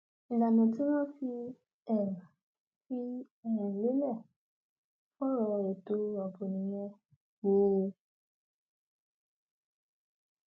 ìlànà tí wọn fi um fi um lélẹ fọrọ ètò ààbò nìyẹn um